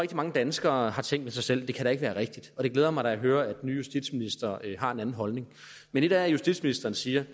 mange danskere har tænkt ved sig selv det kan da ikke være rigtigt og det glæder mig da at høre at den nye justitsminister har en anden holdning men et er at justitsministeren siger